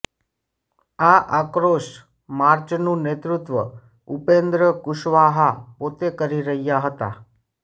આ આક્રોશ માર્ચનું નેતૃત્વ ઉપેન્દ્ર કુશવાહા પોતે કરી રહ્યા હતા